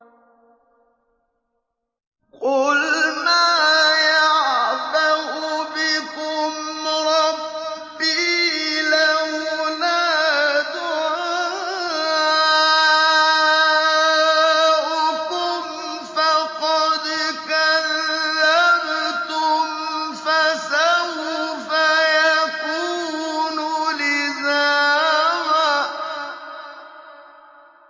قُلْ مَا يَعْبَأُ بِكُمْ رَبِّي لَوْلَا دُعَاؤُكُمْ ۖ فَقَدْ كَذَّبْتُمْ فَسَوْفَ يَكُونُ لِزَامًا